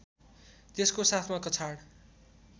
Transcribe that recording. त्यसको साथमा कछाड